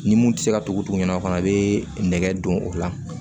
Ni mun tɛ se ka tugu tugu ɲɔgɔn na fana i be nɛgɛ don o la